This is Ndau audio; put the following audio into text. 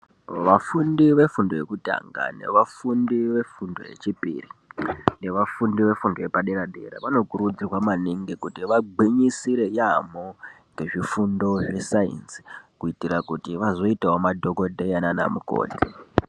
Vafundi vefundi yekutanga nevafundi vefundo yechipiri nevafundi vefundo yepadera vanokurudzirwa maningi kuti vagwinyisire yaamho nezvifundo zvesainzi kuitira kuti vazoitao madhokodheya nana mukoti.